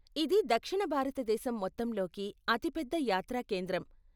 ఇది దక్షిణ భారతదేశం మొత్తంలోకి అతి పెద్ద యాత్రా కేంద్రం.